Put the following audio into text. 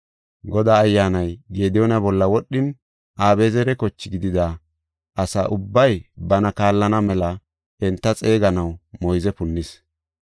Godaa Ayyaanay Gediyoona bolla wodhin Abi7ezera kochi gidida asa ubbay bana kaallana mela enta xeeganaw moyze punnis.